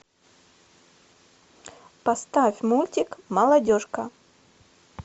поставь мультик молодежка